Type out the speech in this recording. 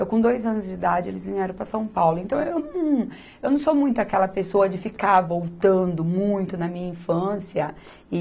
Eu com dois anos de idade eles vieram para São Paulo, então eu não, eu não sou muito aquela pessoa de ficar voltando muito na minha infância e...